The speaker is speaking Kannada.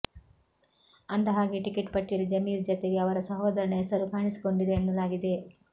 ಅಂದಹಾಗೆ ಟಿಕೆಟ್ ಪಟ್ಟಿಯಲ್ಲಿ ಜಮೀರ್ ಜತೆಗೆ ಅವರ ಸೋದರನ ಹೆಸರೂ ಕಾಣಿಸಿಕೊಂಡಿದೆ ಎನ್ನಲಾಗಿದೆ